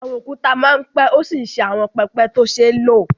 Àwọn òkúta máa ń pẹ́ ó sì ń ṣe àwọn pẹpẹ tó ṣe é lò